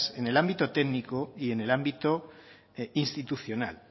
en el ámbito técnico y en el ámbito institucional